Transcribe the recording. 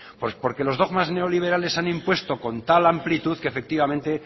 pues porque los dogmas neoliberales se han impuesto con tal amplitud que efectivamente